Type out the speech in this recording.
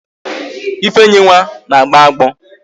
Ifeyinwa na-agbo agbọ